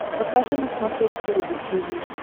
покажи на смотрешке рубль ти ви